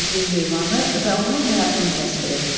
Sevdiğin heyvanı və onun həyatını təsvir et.